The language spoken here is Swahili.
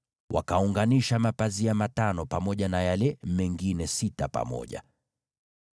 Wakaunganisha mapazia matano kuwa fungu moja, na hayo mengine sita kuwa fungu lingine.